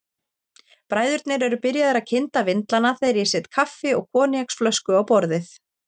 Bræðurnir eru byrjaðir að kynda vindlana þegar ég set kaffi og koníaksflösku á borðið.